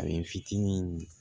A bɛ n fitinin